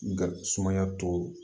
Sumaya tɔ